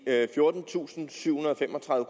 fjortentusinde og syvhundrede og femogtredive